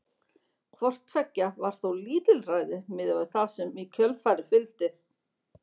Hvort tveggja var þó lítilræði miðað við það sem í kjölfarið fylgdi.